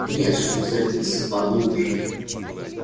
нет чтобы забиться по глубже